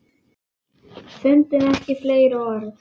Fundum ekki fleiri orð.